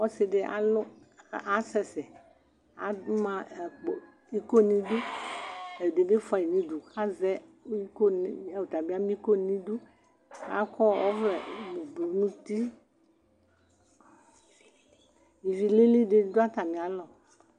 Ɔsidi alʋ, asɛsɛama akpo, iko niduɛdibi fuayi nudu, kazɛ iko , ɔtabi ama iko nidiKakɔ ɔvlɛ ublu nutiIvilili di dʋ atamialɔ